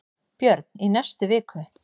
Björn: Í næstu viku?